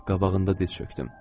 Qabağında diz çökdüm.